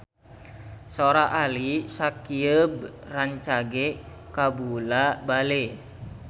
Sora Ali Syakieb rancage kabula-bale